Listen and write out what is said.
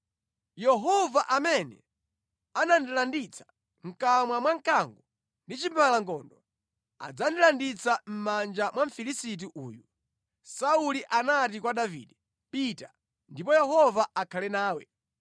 Yehova amene anandilanditsa mʼkamwa mwa mkango ndi chimbalangondo adzandilanditsa mʼmanja mwa Mfilisiti uyu.” Sauli anati kwa Davide, “Pita, ndipo Yehova akhale nawe.”